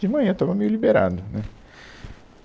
De manhã eu estava meio liberado, né